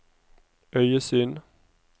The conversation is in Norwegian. øyesyn